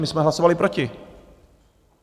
My jsme hlasovali proti.